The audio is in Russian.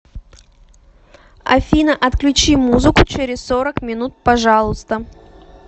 афина отключи музыку через сорок минут пожалуйста